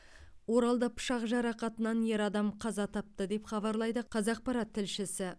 оралда пышақ жарақатынан ер адам қаза тапты деп хабарлайды қазақпарат тілшісі